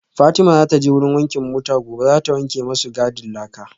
Fatima zataje wurin wankin mota gobe zata wanke masu gadin laka